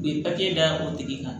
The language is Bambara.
U ye d'aw tigi kan